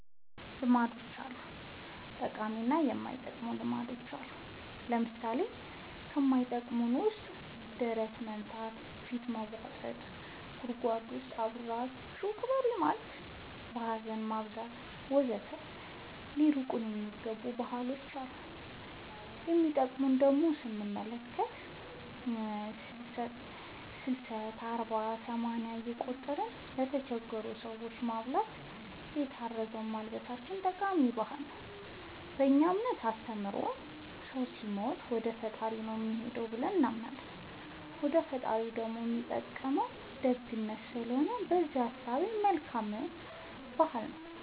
ልማዶች አሉ ጠቃሚ እና የማይጠቅሙ ልማዶች አሉን ለምሳሌ ከማይጠቅመን ውስጥ ደረት መምታ ፊት መቦጠጥ ጉድጎድ ውስጥ አብራችሁኝ ቅበሩኝ ማለት ሀዘን ማብዛት ወዘተ ሊቀሩ የሚገባ ባህሎች አሉ የሚጠቅሙን ደሞ ስንመለከት ሰልስት አርባ ሰማንያ እየቆጠርን ለተቸገሩ ሰዎች ማብላታችን የታረዙትን ማልበሳችን ጠቃሚ ባህል ነው በእኛ እምነት አስተምሮ ሰው ሲሞት ወደፈጣሪው ነው የሚሄደው ብለን እናምናለን ወደ ፈጣሪው ደሞ የሚጠቅመው ደግነት ስለሆነ በእዛ እሳቤ መልካም ባህል ነው